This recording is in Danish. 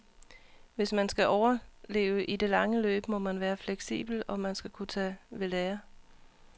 Hvis man skal overleve i det lange løb, må man være fleksibel og man skal kunne tage ved lære.